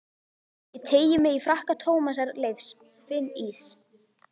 Ég teygi mig í frakka Tómasar Leifs, finn ís